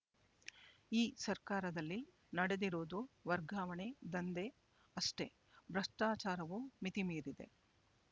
ಈ ಸರ್ಕಾರದಲ್ಲಿ ನಡೆದಿರುವುದು ವರ್ಗಾವಣೆ ದಂಧೆ ಅಷ್ಟೇ ಭ್ರಷ್ಟಾಚಾರವೂ ಮಿತಿಮೀರಿದೆ